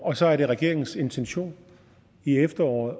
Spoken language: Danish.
og så er det regeringens intention i efteråret